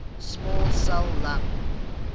small cell lung